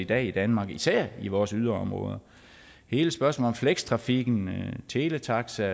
dag i danmark især i vores yderområder hele spørgsmålet om flekstrafikken teletaxa